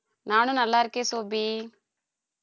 நானும் நநல்லா இருக்கேன் சோபி